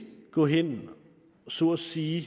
gå hen og så at sige